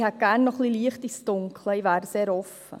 Ich hätte gerne etwas Licht ins Dunkel – ich wäre sehr offen.